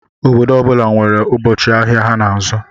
Obodo ọbula nwèrè ụbọchị ahịa ha n'azụ.